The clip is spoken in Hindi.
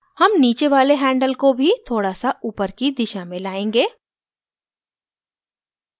हम नीचे वाले handle को भी थोड़ा सा upward की दिशा में लायेंगे